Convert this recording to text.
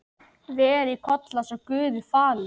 Veri Kolla svo Guði falin.